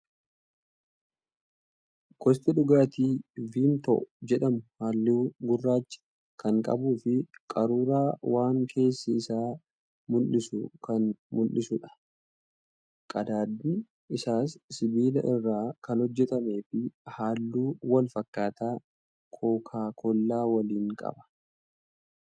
Gosti dhugaatii "VIMTO" jedhamu halluu gurraacha kan qabuu fi qaruuraa waan keessi isaa mul'isu kan mul'isuudha. Qadaadni isaas sibiila irraa kan hojjatamee fi halluu wal fakkaataa kookaa kollaa waliin qaba.